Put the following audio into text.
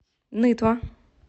нытва